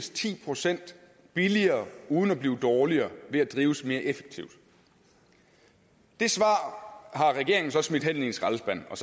ti procent billigere uden at blive dårligere ved at drives mere effektivt det svar har regeringen så smidt hen i en skraldespand og